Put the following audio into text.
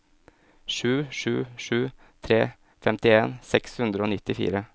sju sju sju tre femtien seks hundre og nittifire